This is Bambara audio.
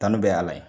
Kanu bɛ a la